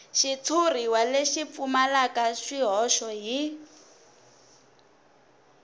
xitshuriwa lexi pfumalaka swihoxo hi